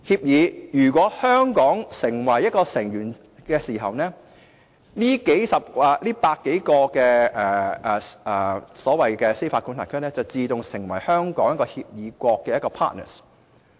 如果香港成為該協議的成員，這100多個司法管轄區便自動成為香港的協議國。